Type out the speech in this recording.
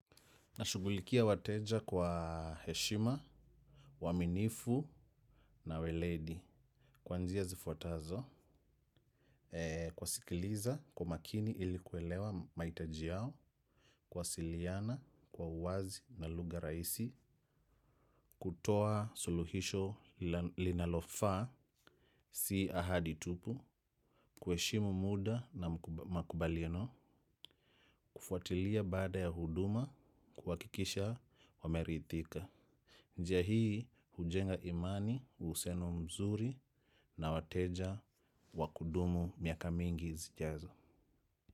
Nashugulikia wateja kwa heshima, uwaminifu na uweledi. Kwanzia zifuatazo kuwa sikiliza kwa makini ili kuwelewa maitaji yao kuwasiliana kwa uwazi na lugha raisi. Kutoa suluhisho linalofaa si ahadi tupu. Kuheshimu muda na makubaliano kufuatilia baada ya huduma kuwakikisha wamerithika. Njia hii hujenga imani, usiano mzuri na wateja wa kudumu miaka mingi zijazo.